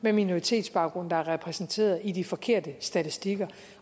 med minoritetsbaggrund der er repræsenteret i de forkerte statistikker